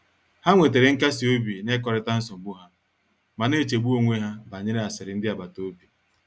Ha nwetere nkasi obi n’ịkọrịta nsogbu ha, ma na-echegbu onwe ha banyere asịrị ndị agbata obi."